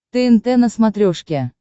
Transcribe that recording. тнт на смотрешке